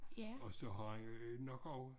Og så har han nok også